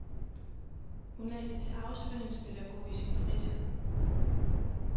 Hun læser til afspændingspædagog i sin fritid.